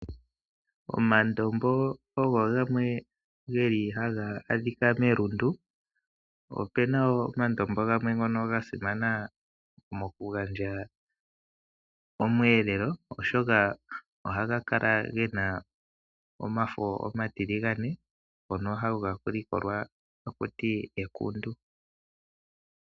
Omandombo ogo gamwe geli haga adhika melundu. Opuna woo omandombo gamwe ngono gasimana mokugandja oshiyelelwa, oshoka ohaga kala gena omafo omatiligane , ngono haga likolwa nokuninga ekundu.